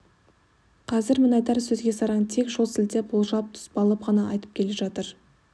қазір мінайдар сөзге сараң тек жол сілтеп болжал-тұспалын ғана айтып келе жатыр